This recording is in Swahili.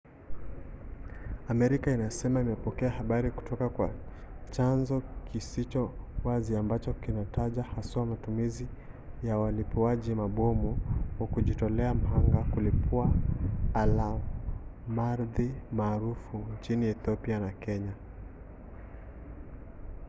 amerika inasema imepokea habari kutoka kwa chanzo kisicho wazi ambacho kinataja haswa matumizi ya walipuaji mabomu wa kujitolea mhanga kulipua alamardhi maarufu nchini ethiopia na kenya